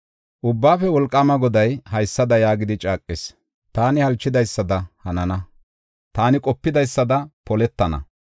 Ubbaafe Wolqaama Goday haysada yaagidi caaqis: “Taani halchidaysada hanana; taani qopidaysada poletana.